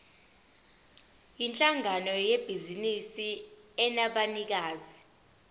yinhlangano yebhizinisi enabanikazi